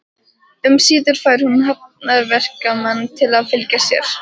Um síðir fær hún hafnarverkamann til að fylgja sér.